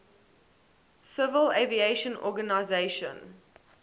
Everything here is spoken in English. civil aviation organization